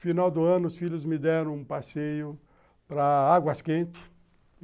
Final do ano, os filhos me deram um passeio para Águas Quentes.